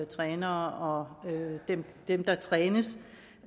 trænere og dem der trænes